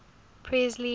presley